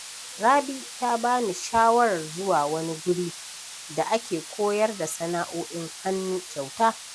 Rabi ta ba ni shawarar zuwa wani guri da ake koyar da sana’o’in hannu kyauta.